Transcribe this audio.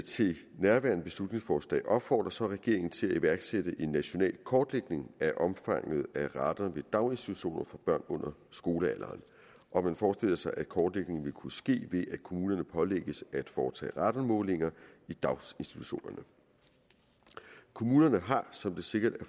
til nærværende beslutningsforslag opfordrer regeringen til at iværksætte en national kortlægning af omfanget af radon ved daginstitutioner for børn under skolealderen man forestiller sig at kortlægningen vil kunne ske ved at kommunerne pålægges at foretage radonmålinger ved daginstitutionerne kommunerne er som det sikkert